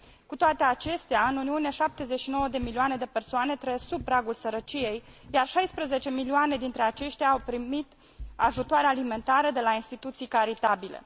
Cu toate acestea, în Uniune, 79 de milioane de oameni trăiesc sub pragul sărăciei, iar 16 milioane dintre aceștia au primit ajutoare alimentare de la instituții caritabile.